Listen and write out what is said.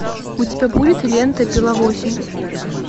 у тебя будет лента пила восемь